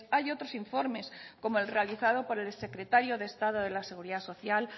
hay otros informes como el realizado por el secretario de estado de la seguridad social